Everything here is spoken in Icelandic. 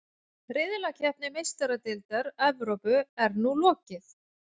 Riðlakeppni Meistaradeildar Evrópu er nú lokið.